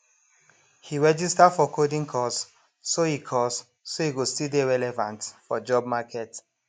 he register for coding course so he course so he go still dey relevant for job market